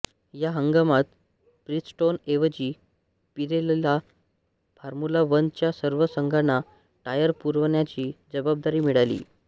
या हंगामात ब्रीजस्टोन ऐवजी पिरेलीला फॉर्म्युला वन च्या सर्व संघाना टायर पुरवण्याची जवाबदारी मिळाली